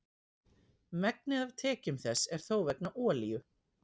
Megnið af tekjum þess er þó vegna olíu.